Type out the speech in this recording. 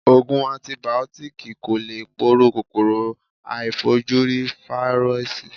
Ògùn antìbìótíkì kò lè poró kòkòrò aàìfojúrí Fáírọ́sì.